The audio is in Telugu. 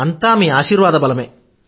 అంతా మీ ఆశీర్వాద బలమే